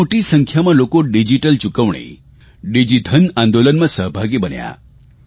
બહુ મોટી સંખ્યામાં લોકો ડીજીટલ ચૂકવણી ડિજીધન આંદોલનમાં સહભાગી બન્યા